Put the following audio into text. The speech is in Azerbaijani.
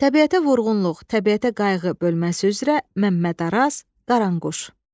Təbiətə vurğunluq, təbiətə qayğı bölməsi üzrə Məmməd Araz, Qaranquş.